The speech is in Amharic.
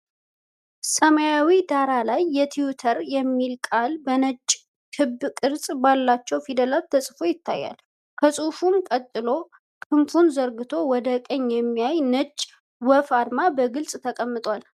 ሰማያዊ ዳራ ላይ የትዊተር (Twitter) የሚለው ቃል በነጭ ክብ ቅርጽ ባላቸው ፊደላት ተጽፎ ይታያል። ከጽሑፉ ቀጥሎ ክንፉን ዘርግቶ ወደ ቀኝ የሚያይ የነጭ ወፍ አርማ በግልጽ ተቀምጧል።